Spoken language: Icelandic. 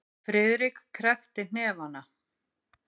Friðrik kreppti hnefana.